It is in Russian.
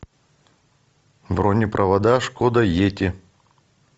бронепровода шкода йети